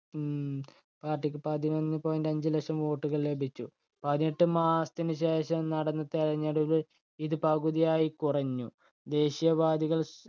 ഹും party പതിനൊന്ന് point അഞ്ചു ലക്ഷം vote കള്‍ ലഭിച്ചു. പതിനെട്ട് മാസത്തിനു ശേഷം നടന്ന തെരഞ്ഞെടുപ്പിൽ ഇത് പകുതിയായി കുറഞ്ഞു. ദേശീയവാദികൾ